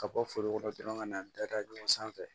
Ka bɔ foro kɔnɔ dɔrɔn ka na da da ɲɔgɔn sanfɛ